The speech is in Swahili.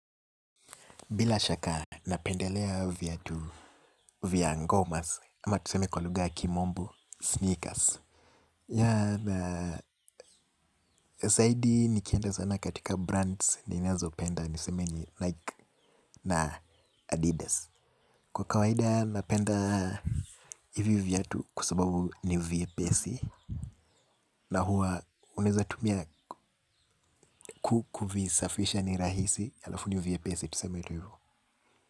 Bila shaka, napendelea viatu, vya ngomas, ama tuseme kwa lugha ya kimombo, sneakers. Ya, na, zaidi nikienda sana katika brands ninazopenda, niseme Nike na Adidas. Kwa kawaida, napenda hivi viatu kwa sababu ni vyepesi. Na huwa, unaweza tumia kukuvisafisha ni rahisi, alafu ni vyepesi, tuseme tu hivyo.